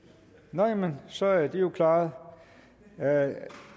nej men så er det jo klaret